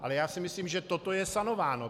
Ale já si myslím, že toto je sanováno.